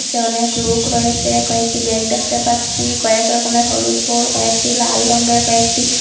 অনেক লোক রয়েসে কয়েকটি ব্যাগ দেখতে পাচ্ছি কয়েক রকমের হলুদ ফুল কয়েকটি লাল রঙ্গের কয়েকটি--